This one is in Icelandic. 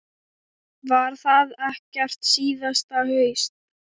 Var það gert síðasta haust.